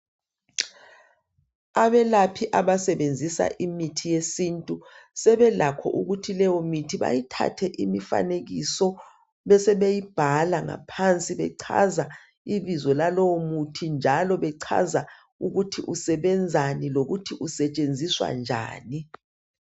Abelaphi abasebenzisa imithi yesintu sebelakho ukuthi leyomithi bayithathe imifanekiso besebeyibhala ngaphansi bechaza ibizo lalowo muthi njalo bechaza ukuthi usebenzani lokuthi usetshenziswa njani.